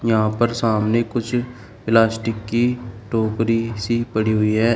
यहां पर सामने कुछ प्लास्टिक की टोकरी सी पड़ी हुई है।